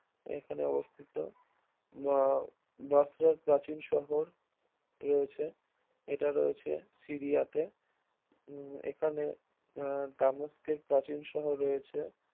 এখানে অবস্থিত আহ দোসরার প্রাচীন শহর রয়েছে, এটা রয়েছে সিরিয়াতে উম এখানে আহ তামস্কের প্রাচীন শহর রয়েছে